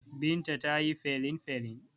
Binta ta yi felinfelin.